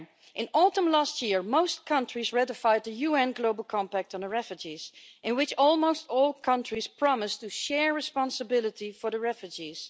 In autumn last year most countries ratified the UN Global Compact on Refugees, in which almost all countries promised to share responsibility for refugees.